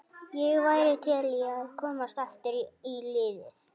Ég væri til í að komast aftur í liðið.